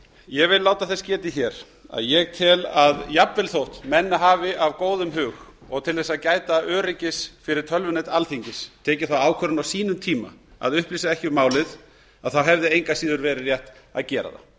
ég vil láta þess getið hér að ég tel að jafnvel þótt menn hafi af góðum hug og til að gæta öryggis fyrir tölvunet alþingis tekið þá ákvörðun á sínum tíma að upplýsa ekki um málið þá hefði engu að síður verið rétt að gera það